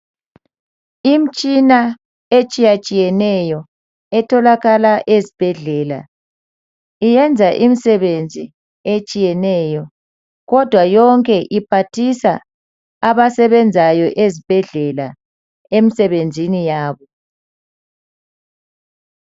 imtshina etshiyatshiyeneyo etholakala ezibhedlela iyenza imsebenzi etshiyeneyo kodwa yonke iphathisa abasebenzayo ezibhedlela emsebenzini yabo